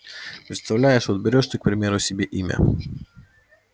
представляешь вот берёшь ты к примеру себе имя